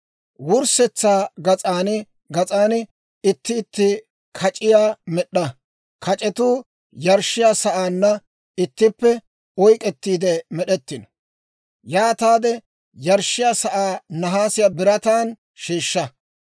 Wurssetsaa gas'an gas'an itti itti kac'iyaa med'd'a; kac'etuu yarshshiyaa sa'aanna ittippe oyk'k'ettiide med'ettino. Yaataade yarshshiyaa sa'aa nahaasiyaa birataan sheeshsha.